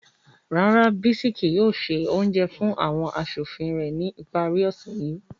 Rara, Bisis kii yoo se ounjẹ fun awọn aṣofin rẹ ni ipari ose yii